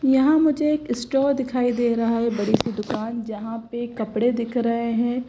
यहां मुझे एक स्टोर दिखाई दे रहा है। बड़ी सी दुकान जहां पे कपड़े दिख रहे हैं।